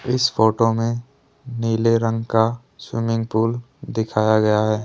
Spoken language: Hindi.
इस फोटो में नीले रंग का स्विमिंग पूल दिखाया गया है।